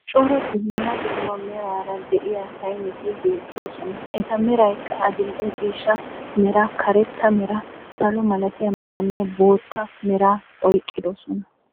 Cora dumma dumma meraara de'iya sayneti beettoosona. Eta meraykka adil"e ciishshaa meraa, karetta meraa, salo malatiya meraanne bootta meraa oyqqiddosona.